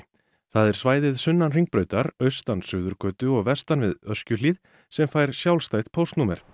það er svæðið sunnan Hringbrautar austan Suðurgötu og vestan við Öskjuhlíð sem fær sjálfstætt póstnúmer